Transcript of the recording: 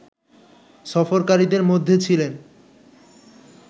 সফরকারীদের মধ্যে ছিলেন